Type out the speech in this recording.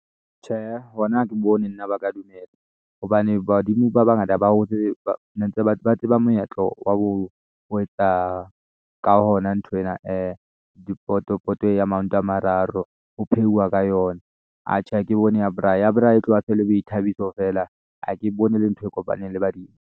Tjheehe, hona ha ke bone nna ba ka dumela hobane badimo ba bangata ba hotse ba tseba moetlo wa ho etsa ka hona nthwena dipoto, poto ya maoto a mararo ho pheuwa ka yona atjhe, ha ke bone ya braai, ya braai e tloha e sele boithabiso feela ha ke bone e le ntho e kopaneng le badimo.